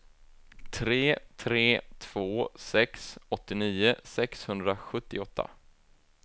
tre tre två sex åttionio sexhundrasjuttioåtta